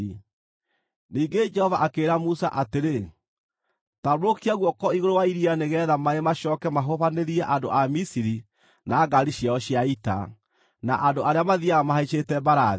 Ningĩ Jehova akĩĩra Musa atĩrĩ, “Tambũrũkia guoko igũrũ wa iria nĩgeetha maaĩ macooke mahubanĩrie andũ a Misiri na ngaari ciao cia ita, na andũ arĩa mathiiaga mahaicĩte mbarathi.”